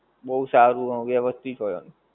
બહું સારું હ વેવઅસ્તિત હોએ